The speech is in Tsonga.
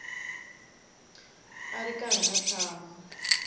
a ri karhi a tshama